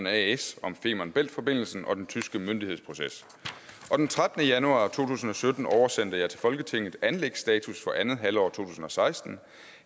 as om femern bælt forbindelsen og den tyske myndighedsproces og den trettende januar to tusind og sytten oversendte jeg til folketinget anlægsstatus for andet halvår to tusind og seksten